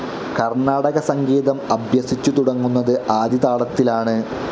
കർണ്ണാടക സംഗീതം അഭ്യസിച്ചു തുടങ്ങുന്നത് ആദിതാളത്തിലാണ്.